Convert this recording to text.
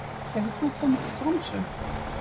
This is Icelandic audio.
Hefur þú komið til Tromsö?